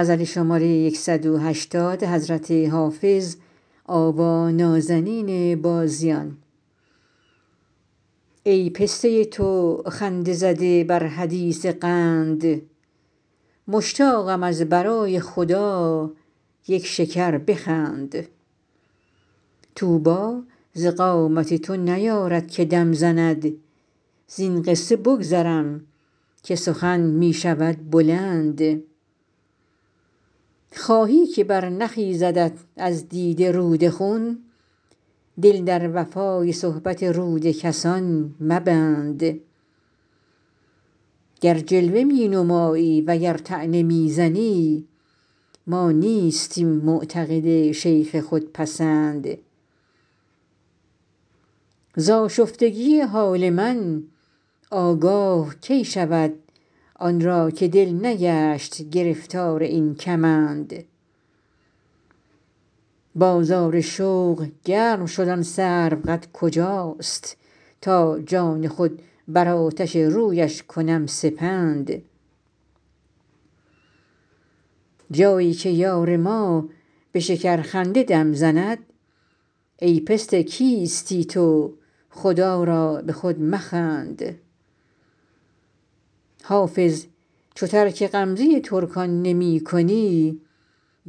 ای پسته تو خنده زده بر حدیث قند مشتاقم از برای خدا یک شکر بخند طوبی ز قامت تو نیارد که دم زند زین قصه بگذرم که سخن می شود بلند خواهی که برنخیزدت از دیده رود خون دل در وفای صحبت رود کسان مبند گر جلوه می نمایی و گر طعنه می زنی ما نیستیم معتقد شیخ خودپسند ز آشفتگی حال من آگاه کی شود آن را که دل نگشت گرفتار این کمند بازار شوق گرم شد آن سروقد کجاست تا جان خود بر آتش رویش کنم سپند جایی که یار ما به شکرخنده دم زند ای پسته کیستی تو خدا را به خود مخند حافظ چو ترک غمزه ترکان نمی کنی